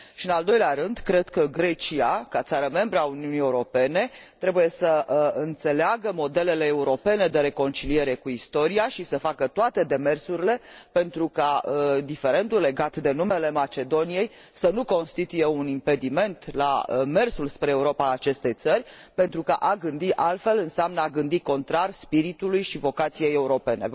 în al doilea rând, cred că Grecia, ca țară membră a Uniunii Europene, trebuie să înțeleagă modelele europene de reconciliere cu istoria și să facă toate demersurile pentru ca diferendul legat de numele Macedoniei să nu constituie un impediment pentru mersul spre Europa a acestei țări, pentru că a gândi altfel înseamnă a gândi contrar spiritului și vocației europene